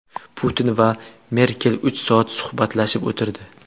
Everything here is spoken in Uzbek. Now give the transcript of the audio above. Putin va Merkel uch soat suhbatlashib o‘tirdi.